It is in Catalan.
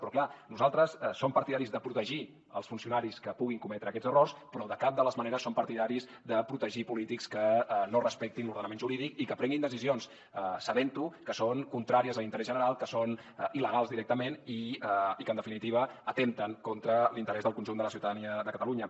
però clar nosaltres som partidaris de protegir els funcionaris que puguin cometre aquests errors però de cap de les maneres som partidaris de protegir polítics que no respectin l’ordenament jurídic i que prenguin decisions sabent que són contràries a l’interès general que són il·legals directament i que en definitiva atempten contra l’interès del conjunt de la ciutadania de catalunya